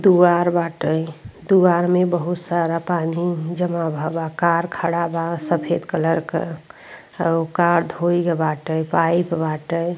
तुआर बाटै। दुआर में बहुत सारा पानी जमा भा बा। कार खड़ा बा सफ़ेद कलर क। हउ कार धोई ग् बाटै पाइप बाटै।